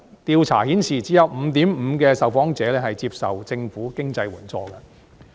調查顯示只有 5.5% 的受訪者接受政府經濟援助。